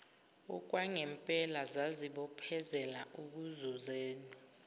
okwangempela zazibophezela ekuzuzeni